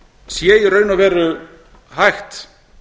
sé í raun og veru hægt